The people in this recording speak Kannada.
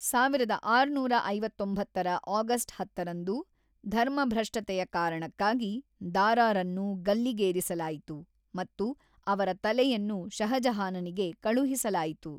ಸಾವಿರದ ಆರುನೂರ ಐವತೊಂಬತ್ತರ ಆಗಸ್ಟ್ ಹತ್ತರಂದು ಧರ್ಮಭ್ರಷ್ಟತೆಯ ಕಾರಣಕ್ಕಾಗಿ ದಾರಾರನ್ನು ಗಲ್ಲಿಗೇರಿಸಲಾಯಿತು ಮತ್ತು ಅವರ ತಲೆಯನ್ನು ಷಹಜಹಾನನಿಗೆ ಕಳುಹಿಸಲಾಯಿತು.